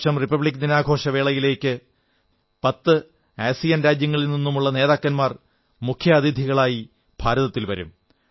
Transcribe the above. ഈ വർഷം റിപ്പബ്ലിക് ദിനാഘോഷവേളയിലേക്ക് പത്ത് ആസിയാൻ രാജ്യങ്ങളിൽ നിന്നുമുള്ള നേതാക്കന്മാർ മുഖ്യാതിഥികളായി ഭാരതത്തിൽ വരും